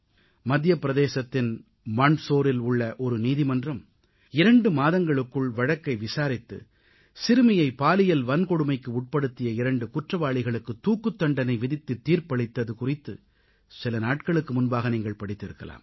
மத்திய பிரதேசத்தின் மண்டசோரில் உள்ள ஒரு நீதிமன்றம் இரண்டு மாதங்களுக்குள் வழக்கை விசாரித்து சிறுமியை பாலியல் வன்கொடுமைக்கு உட்படுத்திய இரண்டு குற்றவாளிகளுக்கு தூக்குத் தண்டனை விதித்து தீர்ப்பளித்தது குறித்து சில நாட்களுக்கு முன்பாக நீங்கள் படித்திருக்கலாம்